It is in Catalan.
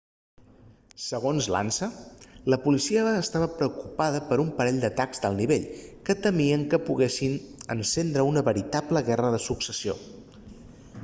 segons l'ansa la policia estava preocupada per un parell d'atacs d'alt nivell que temien que poguessin encendre una veritable guerra de successió